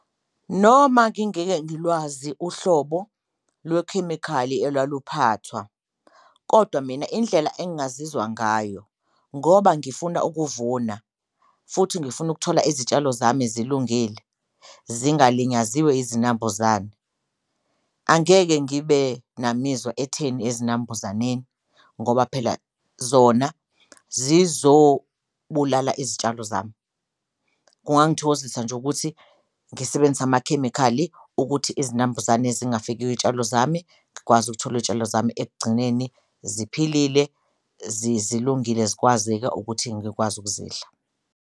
Noma ngingeke ngilwazi uhlobo lwekhemikhali elwaluphathwa kodwa mina indlela engazizwa ngayo ngoba ngifuna ukuvuna futhi ngifuna ukuthola izitshalo zami zilungile, zingalinyaziwe izinambuzane angeke ngibe namizwa etheni ezinambuzaneni ngoba phela zona zizobulala izitshalo zami. Kungangithokozisa nje ukuthi ngisebenzise amakhemikhali ukuthi izinambuzane zingafiki kwiy'tshalo zami, ngikwazi ukuthola iy'tshalo zami ekugcineni ziphilile, zilungile zikwazeka ukuthi ngikwazi ukuzidla.